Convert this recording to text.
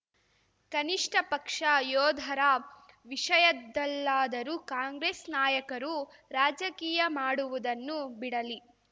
ಕನಿಷ್ಠ ಪಕ್ಷ ಯೋಧರ ವಿಷಯದಲ್ಲಾದರೂ ಕಾಂಗ್ರೆಸ್ ನಾಯಕರು ರಾಜಕೀಯ ಮಾಡುವುದನ್ನು ಬಿಡಲಿ